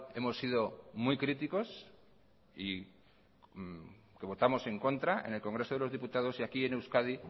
hemos sido muy críticos y que votamos en contra en el congreso de los diputados y aquí en euskadi